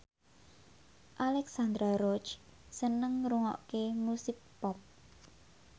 Alexandra Roach seneng ngrungokne musik pop